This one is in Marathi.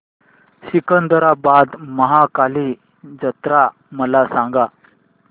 सिकंदराबाद महाकाली जत्रा मला सांगा